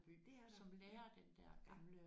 Det er der ja